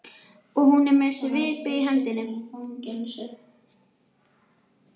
Og hún er með svipu í hendinni.